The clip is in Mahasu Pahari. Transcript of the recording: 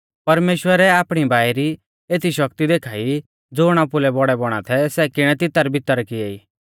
परमेश्‍वरै आपणी बाई री एती शक्ति देखा ई ज़ुण आपुलै बौड़ै बौणा थै सै किणै तित्तरबित्तर किएई